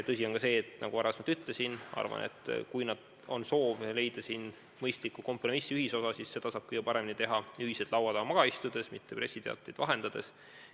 Tõsi on ka see, nagu varem ütlesin, et kui on soov leida mõistlik kompromiss, ühisosa, siis seda saab kõige paremini teha ühiselt laua taha maha istudes, mitte pressiteateid vahetades.